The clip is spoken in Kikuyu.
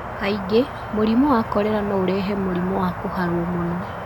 Kaingĩ, mũrimũ wa kolera no ũrehe mũrimũ wa kũharwo muno.